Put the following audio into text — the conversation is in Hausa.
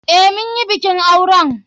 Eh, munyi bikin auren.